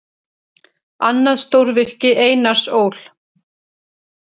Annað stórvirki Einars Ól.